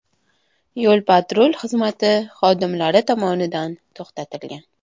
yo‘l-patrul xizmati xodimlari tomonidan to‘xtatilgan.